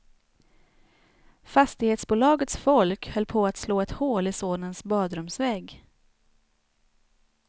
Fastighetsbolagets folk höll på att slå ett hål i sonens badrumsvägg.